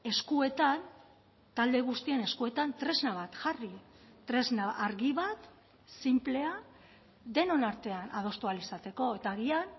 eskuetan talde guztien eskuetan tresna bat jarri tresna argi bat sinplea denon artean adostu ahal izateko eta agian